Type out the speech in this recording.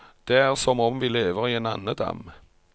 Det er som om vi lever i en andedam.